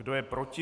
Kdo je proti?